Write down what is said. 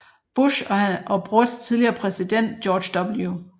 Bush og bror til tidligere præsident George W